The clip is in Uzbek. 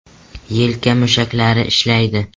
Yelka mushaklari ishlaydi .